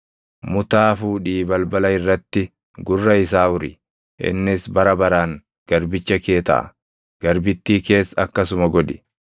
mutaa fuudhii balbala irratti gurra isaa uri; innis bara baraan garbicha kee taʼa. Garbittii kees akkasuma godhi.